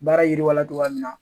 Baara yiriwala togoya min na